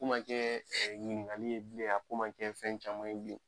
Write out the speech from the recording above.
Ko ma jɛɛ ɲiniŋali ye bilen a ko ma kɛ fɛn caman ye bilen.